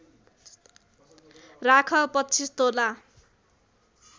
राख २५ तोला